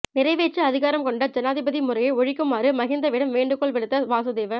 நிறைவேற்று அதிகாரம் கொண்ட ஜனாதிபதி முறையை ஒழிக்குமாறு மஹிந்தவிடம் வேண்டுகோள் விடுத்த வாசுதேவ